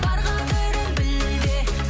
бар қадірін біл де